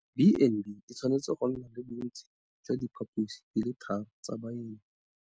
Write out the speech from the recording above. B and B e tshwanetse go nna le bontsi jwa diphaposi di le tharo tsa baeng.